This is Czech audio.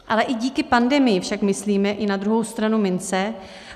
Ale i díky pandemii však myslíme i na druhou stranu mince.